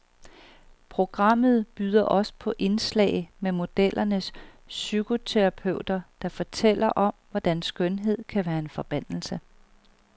Programmet byder også på et indslag med modellernes psykoterapeuter, der fortæller om, hvordan skønhed kan være en forbandelse.